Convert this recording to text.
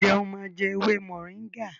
njé o má jé ewé Moringa?